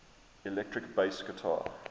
electric bass guitar